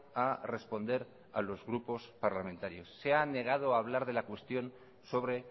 a responder a los grupos parlamentarios se ha negado a hablar de la cuestión sobre